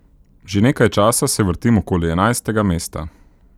Že nekaj časa se vrtim okoli enajstega mesta.